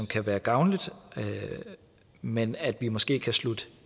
kan være gavnligt men at vi måske kan slutte